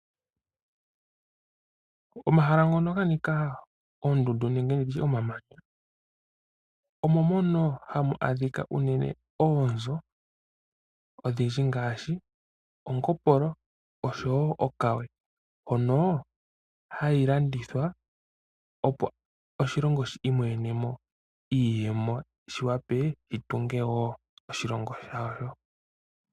Omahala ngono ga nika oondundu nenge nditye omamanya omo mono hamu adhika unene oonzo odhidji ngaashi omungombolo nosho wo okawe mbyono hayi landithwa opo oshilongo shi imonenemo iiyemo shiwape shitunge wo oshilongo shasho.